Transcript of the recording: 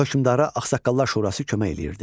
Hökmdara ağsaqqallar şurası kömək eləyirdi.